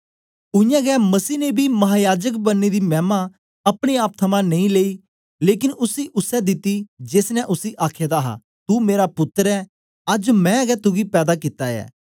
उयांगै मसीह ने बी महायाजक बनने दी मैमा अपने आप थमां नेई लेई लेकन उसी उसै दिती जेस ने उसी आखे दा हा तू मेरा पुत्तर ऐ अज्ज मैं गै तुगी पैदा कित्ता ऐ